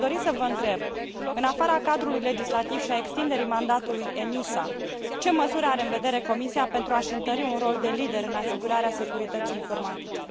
Aș dori să vă întreb, în afara cadrului legislativ și a extinderii mandatului ENISA, ce măsuri are în vedere Comisia pentru a și întări un rol de lider în asigurarea securității informatice?